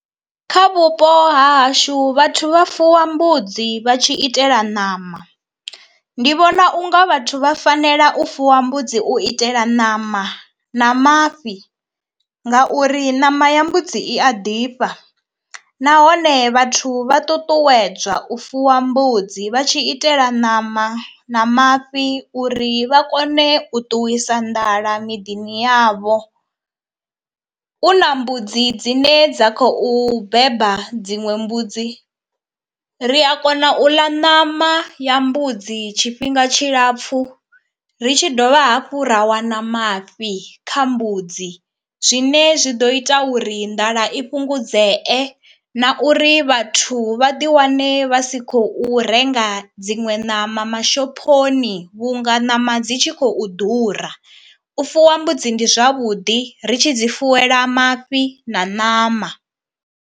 Kha vhupo ha hashu vhathu vha fuwa mbudzi vha tshi itela ṋama, ndi vhona unga vhathu vha fanela u fuwa mbudzi u itela ṋama na mafhi ngauri ṋama ya mbudzi i a ḓifha nahone vhathu vha ṱuṱuwedzwa u fuwa mbudzi vha tshi itela ṋama na mafhi uri vha kone u ṱuwisa nḓala miḓini yavho. U na mbudzi dzine dza khou beba dziṅwe mbudzi ri a kona u ḽa ṋama ya mbudzi tshifhinga tshilapfhu ri tshi dovha hafhu ra wana mafhi kha mbudzi zwine zwi ḓo ita uri nḓala i fhungudzee na uri vhathu vha ḓi wane vha si khou renga dziṅwe ṋama mashophoni vhunga ṋama dzi tshi khou ḓura. U fuwa mbudzi ndi zwavhuḓi ri tshi dzi fuwela mafhi na ṋama.